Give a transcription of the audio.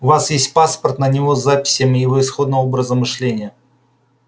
у вас есть паспорт на него с записями его исходного образа мышления